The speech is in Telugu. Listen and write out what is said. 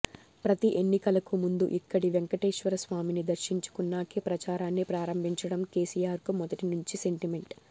ప్రతి ఎన్నికలకు ముందు ఇక్కడి వెంకటేశ్వరస్వామిని దర్శించుకున్నాకే ప్రచారాన్ని ప్రారంభించడం కేసీఆర్కు మొదటి నుంచి సెంటిమెంట్